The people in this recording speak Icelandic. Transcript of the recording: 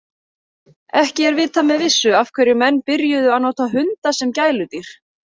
Ekki er vitað með vissu af hverju menn byrjuðu að nota hunda sem gæludýr.